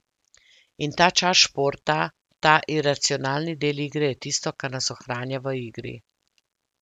In ta čar športa, ta iracionalni del igre je tisto, kar nas ohranja v igri.